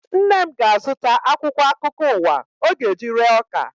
Nne m ga-azụta akwụkwọ akụkọ ụwa ọ ga-eji ree ọka